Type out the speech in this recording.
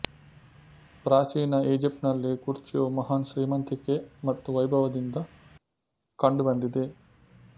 ಪ್ರಾಚೀನ ಈಜಿಪ್ಟ್ ನಲ್ಲಿ ಕುರ್ಚಿಯು ಮಹಾನ್ ಶ್ರೀಮಂತಿಕೆ ಮತ್ತು ವೈಭವದಿಂದ ಕಂಡುಬಂದಿದೆ